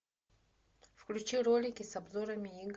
включи ролики с обзорами игр